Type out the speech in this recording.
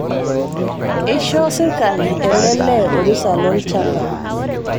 Eishoo sirkali ele lee orusa lolchamba